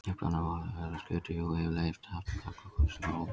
Upprunalega var orðið skötuhjú yfirleitt haft um karl og konu sem voru ógift.